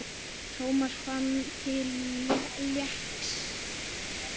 Thomas fann til léttis.